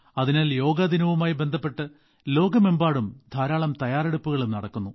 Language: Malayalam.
അതിനാൽ യോഗ ദിനവുമായി ബന്ധപ്പെട്ട് ലോകമെമ്പാടും ധാരാളം തയ്യാറെടുപ്പുകളും നടക്കുന്നു